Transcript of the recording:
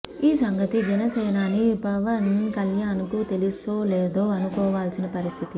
ఈ సంగతి జనసేనాని పవన్ కల్యాణ్ కు తెలుసో లేదో అనుకోవాల్సిన పరిస్థితి